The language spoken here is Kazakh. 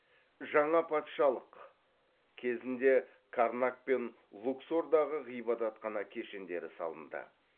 жаңа патшалық кезінде карнак пен луксордағы ғибадатхана кешендері салынды